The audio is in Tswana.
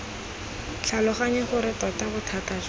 tlhaloganye gore tota bothata jwa